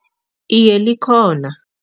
Iye, likhona.